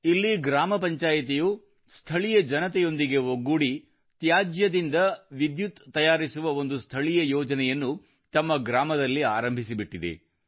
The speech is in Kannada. ಇಲ್ಲಿ ಗ್ರಾಮ ಪಂಚಾಯಿತಿಯು ಸ್ಥಳೀಯ ಜನತೆಯೊಂದಿಗೆ ಒಗ್ಗೂಡಿ ತ್ಯಾಜ್ಯದಿಂದ ವಿದ್ಯುತ್ ತಯಾರಿಸುವ ಒಂದು ಸ್ಥಳೀಯ ಯೋಜನೆಯನ್ನು ತಮ್ಮ ಗ್ರಾಮದಲ್ಲಿ ಆರಂಭಿಸಿಬಿಟ್ಟಿದೆ